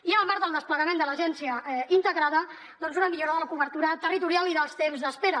i en el marc del desplegament de l’agència integrada doncs una millora de la cobertura territorial i dels temps d’espera